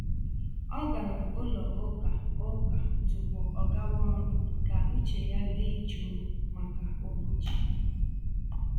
Ọ gara ụlọ ụka ụka tupu ọgawa ọrụ ka uche ya dị jụụ maka ụbọchị.